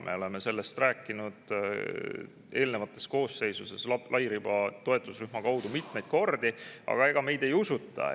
Me oleme sellest rääkinud eelmistes koosseisudes lairiba toetusrühma mitmeid kordi, aga meid ei usuta.